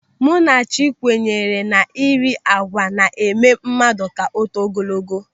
Munachi kwenyere na ị ri àgwà na-eme mmadụ ka o too ogologo.